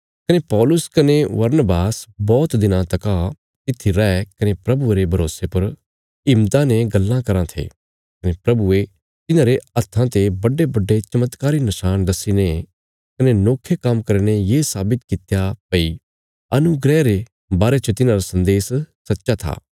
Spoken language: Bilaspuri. कने पौलुस कने बरनबास बौहत दिनां तका तित्थी रये कने प्रभुये रे भरोसे पर हिम्मता ने गल्लां कराँ थे कने प्रभुये तिन्हांरे हत्थां ते बड़ेबड़े चमत्कारी नशाण दस्सीने कने नोखे काम्म करीने ये साबित कित्या भई अनुग्रह रे बारे च तिन्हांरा सन्देश सच्चा था